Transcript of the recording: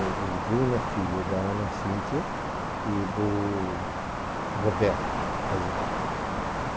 O Bruno é filho da Ana Cíntia e do Roberto Azen.